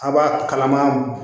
A b'a kalama